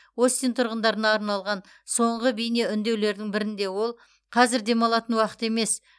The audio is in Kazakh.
остин тұрғындарына арналған соңғы бейнеүндеулердің бірінде ол қазір демалатын уақыт емес